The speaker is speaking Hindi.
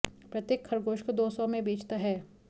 प्रत्येक खरगोश को दौ सौ में बेचता है